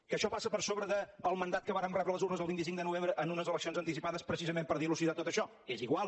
que això passa per sobre el mandat que vàrem rebre de les urnes el vint cinc de novembre en unes eleccions anticipades precisament per dilucidar tot això és igual